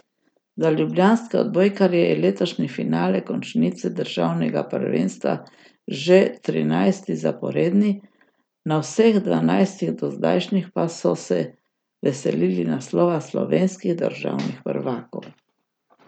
Za ljubljanske odbojkarje je letošnji finale končnice državnega prvenstva že trinajsti zaporedni, na vseh dvanajstih dozdajšnjih pa so se veselili naslova slovenskih državnih prvakov.